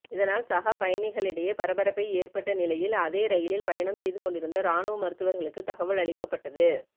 இதனால் சக பயணிகளிடையே பரபரப்பை ஏற்பட்ட நிலையில் அதே ரயிலில் பயணம் செய்து கொண்டிருந்த இராணுவ மருத்துவர்களுக்கு தகவல் அளிக்கப்பட்டது